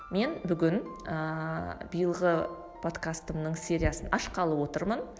мен бүгін ыыы биылғы подкастымның сериясын ашқалы отырмын